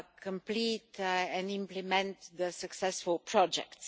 complete and implement the successful projects.